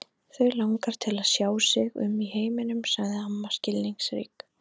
Þau langar til að sjá sig um í heiminum sagði amma skilningsrík.